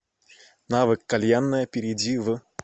навык кальянная перейди в